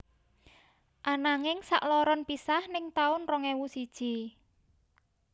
Ananging sakloron pisah ning taun rong ewu siji